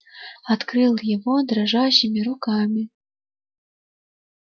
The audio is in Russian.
открыл его дрожащими руками